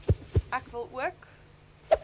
ek wil ook